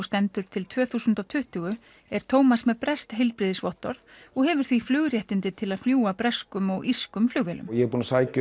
stendur til tvö þúsund og tuttugu er Tómas með breskt heilbrigðisvottorð og hefur því flugréttindi til að fljúga breskum og írskum flugvélum ég hef